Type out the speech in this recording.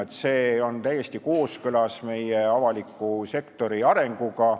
See ühendamine on täiesti kooskõlas meie avaliku sektori arenguga.